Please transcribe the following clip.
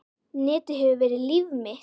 Netið hefur verið líf mitt.